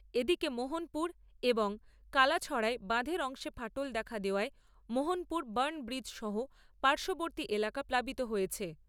এদিকে মোহনপুর এবং কালাছড়ায় বাঁধের অংশে ফাটল দেখা দেওয়ায় মোহনপুর বাণিব্রিজ সহ পার্শ্ববর্তী এলাকা প্লাবিত হয়েছে।